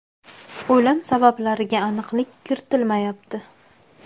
O‘lim sabablariga aniqlik kiritilmayapti.